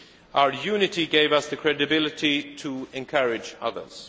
Our unity gave us the credibility to encourage others.